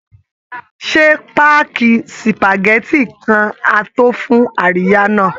Ṣé páàkì spageti kan á tó fún àríyá náà?